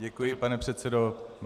Děkuji, pane předsedo.